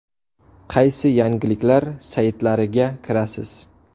Qaysi yangiliklar saytlariga kirasiz?